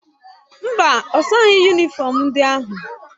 Mba, ọ saghị yunịfọm ndị ahụ.